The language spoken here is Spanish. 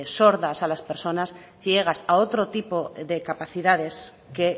sordas a las persona ciegas a otro tipo de capacidades que